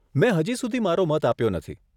મેં હજી સુધી મારો મત આપ્યો નથી.